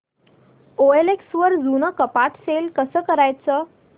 OLX वर जुनं कपाट सेल कसं करायचं